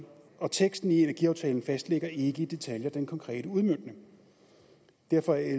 og teksten i energiaftalen fastlægger ikke i detaljer den konkrete udmøntning derfor er